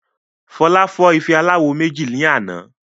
Fola fọ́ ife aláwo méjì ní àná